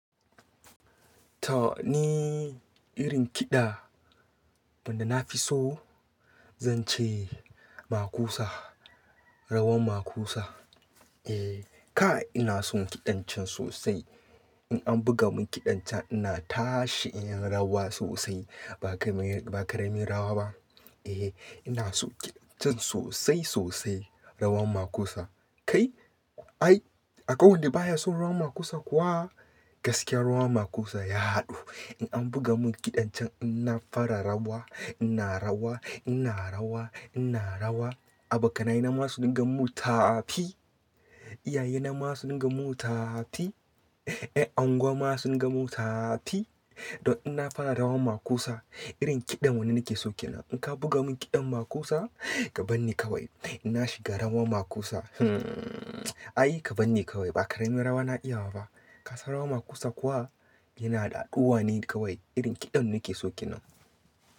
To ni irin kiɗa wanda na fi so, zan ce makusa, rawan makusa. Eh, kai ina son kiɗan can sosai. In an buga mun kiɗan can ina tashi in yi rawa sosai. Ba ka ra ba karamin rawa ba. Eh, ina son kiɗan can sosai sosai, rawan makusa. Kai? Ai, akwai wanda baya son rawan makusa kuwa? Gaskiyar rawan makusa ya haɗu. In an buga mun kiɗan can ina fara rawa, ina rawa, ina rawa, ina rawa. Abokanai na ma su dunga mun tafi. Iyaye na ma su dunga mun tafi Eh, angwa ma sun dunga mun tafi. Don ina fara rawan makusa. Irin kiɗa wanda nake sauke nan. In ka buga mun kiɗan makusa, ka bani kawai. Ina shiga rawan makusa. Hmm, ai ka banni kawai. Ba karamin rawa na iya ba fa. Kasa rawan makusa kuwa yana da haɗuwa ne kawai. Irin kiɗa wanda nake so kenan.